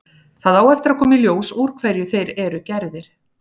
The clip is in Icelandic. Það á eftir að koma í ljós úr hverju þeir eru gerðir.